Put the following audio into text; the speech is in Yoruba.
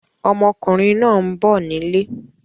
Ọmọkùnrin náà ń bọ̀ nílé.